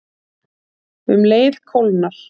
Um leið kólnar